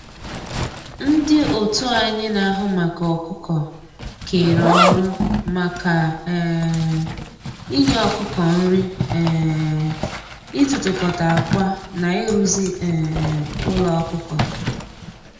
Ndị otu anyị na-ahụ maka ọkụkọ kere ọrụ maka um inye ọkụkọ nri, um ịtụtụkọta akwa na ịrụzi um ụlọ ọkụkọ